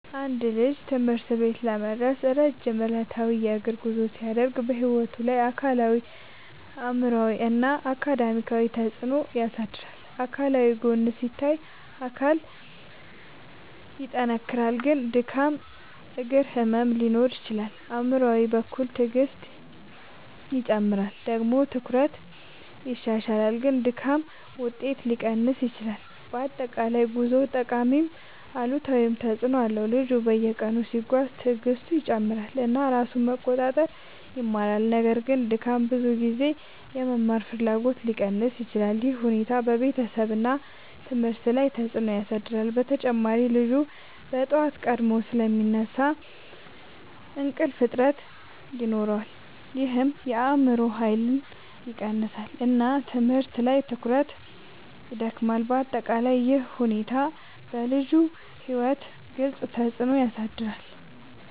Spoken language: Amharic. አንድ ልጅ ትምህርት ቤት ለመድረስ ረጅም ዕለታዊ የእግር ጉዞ ሲያደርግ በሕይወቱ ላይ አካላዊ አእምሯዊ እና አካዳሚያዊ ተፅዕኖ ያሳድራል። አካላዊ ጎን ሲታይ አካል ይጠናከራል ግን ድካም እግር ህመም ሊኖር ይችላል። አእምሯዊ በኩል ትዕግስት ይጨምራል ግን ጭንቀት ሊፈጠር ይችላል። አካዳሚያዊ ደግሞ ትኩረት ይሻሻላል ግን ድካም ውጤት ሊቀንስ ይችላል። በአጠቃላይ ጉዞው ጠቃሚም አሉታዊም ተፅዕኖ አለው። ልጁ በየቀኑ ሲጓዝ ትዕግስቱ ይጨምራል እና ራሱን መቆጣጠር ይማራል። ነገር ግን ድካም ብዙ ጊዜ የመማር ፍላጎትን ሊቀንስ ይችላል። ይህ ሁኔታ በቤተሰብ እና ትምህርት ላይ ተጽዕኖ ያሳድራል። በተጨማሪ ልጁ በጠዋት ቀድሞ ስለሚነሳ እንቅልፍ እጥረት ይኖራል ይህም የአእምሮ ኃይልን ይቀንሳል እና ትምህርት ላይ ትኩረት ይዳክማል። በአጠቃላይ ይህ ሁኔታ በልጁ ሕይወት ግልጽ ተፅዕኖ ያሳድራል።